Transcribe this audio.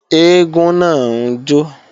Eégún náà ń jó